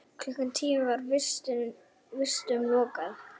Klukkan tíu var vistum lokað.